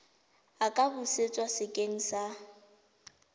a ka busetswa sekeng sa